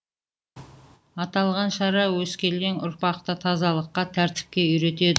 аталған шара өскелең ұрпақты тазалыққа тәртіпке үйретеді